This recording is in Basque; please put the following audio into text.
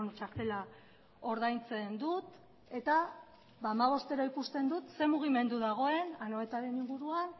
txartela ordaintzen dut eta hamabostero ikusten dut zer mugimendu dagoen anoetaren inguruan